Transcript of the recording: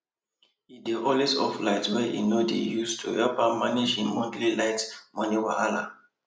he dey always off the light wey he no dey use to help am manage him monthly light money wella